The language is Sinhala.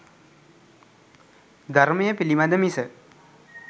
ධර්මය පිළිබඳ මිස